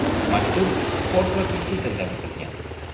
Maktub fors va turkiy tilda bitilgan.